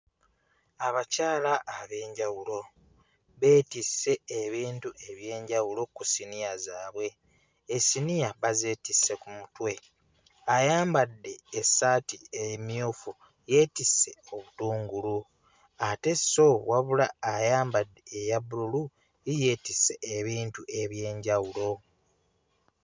Abakyala ab'enjawulo beetisse ebintu eby'enjawulo ku ssiniya zaabwe, essiniya bazeetisse mu mutwe, ayambadde essaati emmyufu yeetisse obutungulu ate sso wabula ayambadde eya bbululu ye yeetisse ebintu eby'enjawulo.